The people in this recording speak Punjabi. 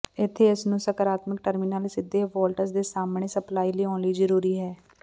ਇੱਥੇ ਇਸ ਨੂੰ ਸਕਾਰਾਤਮਕ ਟਰਮੀਨਲ ਸਿੱਧੇ ਵੋਲਟੇਜ ਦੇ ਸਾਹਮਣਾ ਸਪਲਾਈ ਲਿਆਉਣ ਲਈ ਜ਼ਰੂਰੀ ਹੈ